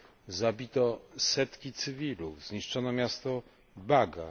r. zabito setki cywilów, zniszczono miasto Baga.